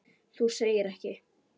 Þú segir ekki.